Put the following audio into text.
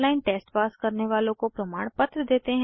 online test pass करने वालों को प्रमाणपत्र देते हैं